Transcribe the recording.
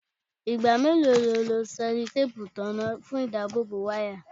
Igba melo ni o lo sellotape itanna fun idabobo waya?